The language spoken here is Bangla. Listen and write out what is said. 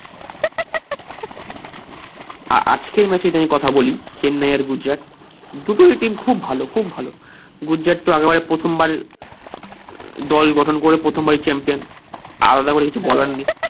আহ আজকের match নিয়ে কথা বলি চেন্নাই আর গুজরাট দুটোই team খুব ভালো খুব ভালো গুজরাট তো আবার প্রথম বার দল গঠন করে প্রথম বার ই champion